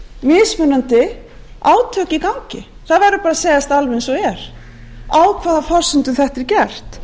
mismunandi átök í gangi það verður bara að segjast alveg eins og er á hvaða forsendum þetta er gert